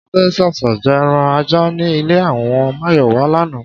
S̩adé s̩ès̩ì je̩ e̩ran ajá ní ilé àwo̩n Máyò̩wá lánàá